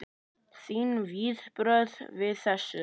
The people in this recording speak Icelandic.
Þín viðbrögð við þessu?